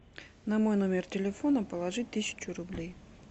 на мой номер телефона положить тысячу рублей